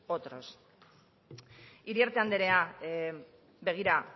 otros iriarte andrea begira